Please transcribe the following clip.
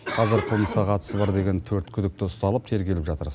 қазір қылмысқа қатысы бар деген төрт күдікті ұсталып тергеліп жатыр